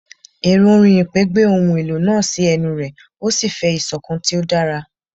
Ẹrọ orin ipè gbe ohun elo naa si ẹnu rẹ o si fẹ isokan ti o dara